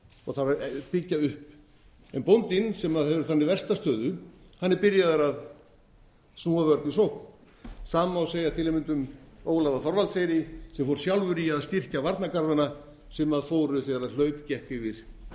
og þarf að byggja upp en bóndinn sem hefur þannig versta stöðu er byrjaður að snúa vörn í sókn sama má segja til að mynda um ólaf á þorvaldseyri sem fór sjálfur í að styrkja varnargarðana sem fóru þegar hlaup gekk yfir